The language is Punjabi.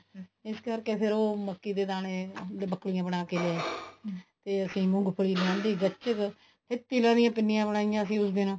ਇਸ ਕਰਕੇ ਫ਼ੇਰ ਉਹ ਮੱਕੀ ਦੇ ਦਾਣੇ ਬੱਕਲੀਆਂ ਬਣਾ ਕੇ ਤੇ ਅਸੀਂ ਮੂੰਗਫਲੀ ਲਿਆਂਦੀ ਗੱਚਕ ਤੇ ਤਿਲਾਂ ਦੀਆਂ ਪਿੰਨੀਆਂ ਬਣਾਈਆਂ ਅਸੀਂ ਉਸ ਦਿਨ